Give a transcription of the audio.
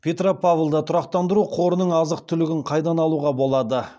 петропавлда тұрақтандыру қорының азық түлігін қайдан алуға болады